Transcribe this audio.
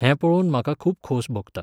हें पळोवन म्हाका खूब खोस भोगता.